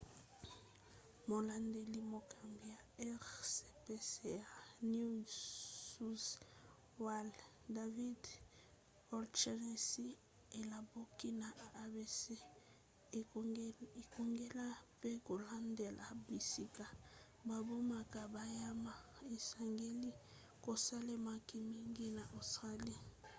molandeli-mokambi ya rspca new south wales david o'shannessy alobaki na abc ete kokengela pe kolandela bisika babomaka banyama esengeli kosalemaka mingi na australie